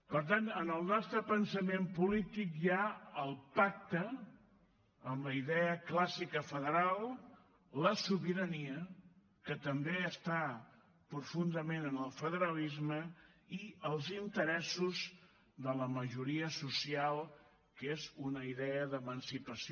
per tant en el nostre pensament polític hi ha el pacte amb la idea clàssica federal la sobirania que també està profundament en el federalisme i els interessos de la majoria social que és una idea d’emancipació